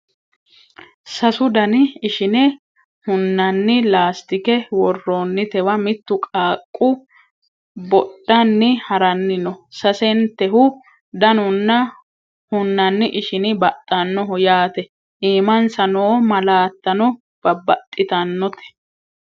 sasu dani ishine hunanni laastike worroonnitewa mittu qaaqqu bodhani haranni no sasentehu danunna hunanni ishini baxxannoho yaate iimansa noo malaattano baxxitannote